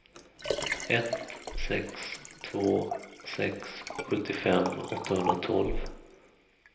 ett sex två sex sjuttiofem åttahundratolv